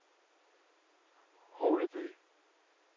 Holeby